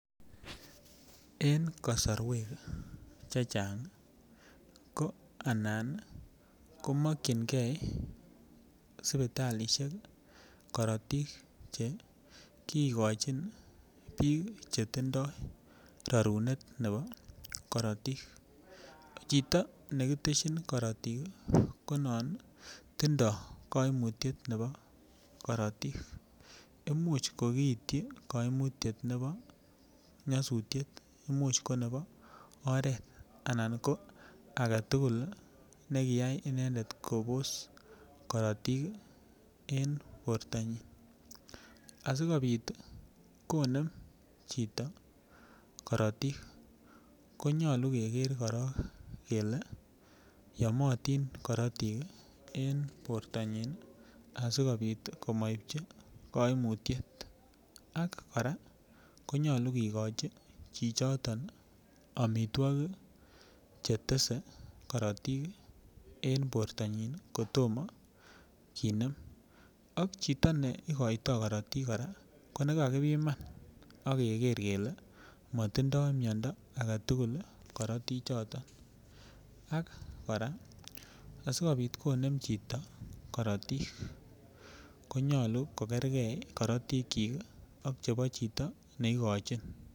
En kosorwek chechangi ko anan komokingee sipitalishek korotik che kikochin bik chetindo rorunet nebo korotik, chito nekiteshin korotik komonut tindo koimutyet nebo korotik imuch kokiityi koimutyet nebo nyosutyrt imuch ko nebo oret ana ko agetukul nekiyai inendet Kobos korotik en bortanyin asikopit konem chito korotik konyolu Keker korong kele yomotii korotik en bortanyin asikopit komoipchi koimutyet ak Koraa konyolu kikochin chichoton omitwokik chetese korotik en bortanyin kotomo kicher ak chito ne ikoito korotik kora ko nekakipiman ak Keker kele motindoi miondo agetukul korotik choton ak Koraa asikopit konem chito korotik konyolu kokergee korotik chik ak chito neikochin.